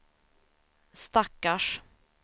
stackars